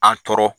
An tɔɔrɔ